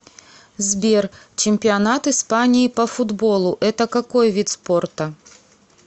сбер чемпионат испании по футболу это какой вид спорта